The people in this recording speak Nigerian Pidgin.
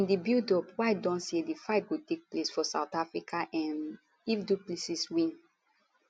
in di buildup white don say di fight go take place for south africa um if du plessis win